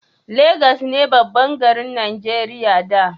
Legas ne babban garin Najeriya da